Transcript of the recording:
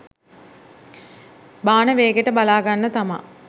බාන වේගෙට බලාගන්න තමා